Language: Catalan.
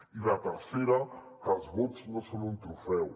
i la tercera que els vots no són un trofeu